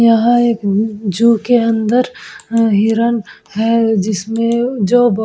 यहाँ एक अ जू के अंदर अ हिरण है जिसमें जो --